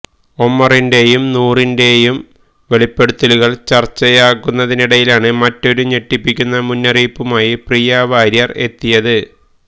ഒമറിന്റെയും നൂറിന്റെയും വെളിപ്പെടുത്തലുകൾ ചർച്ചയാകുന്നതിനിടയിലാണ് മറ്റൊരു ഞെട്ടിപ്പിക്കുന്ന മുന്നറിയിപ്പുമായി പ്രിയ വാര്യർ എത്തിയത്